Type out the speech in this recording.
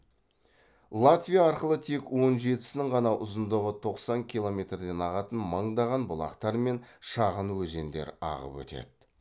латвия арқылы тек он жетісінің ғана ұзындығы тоқсан километрден ағатын мыңдаған бұлақтар мен шағын өзендер ағып өтеді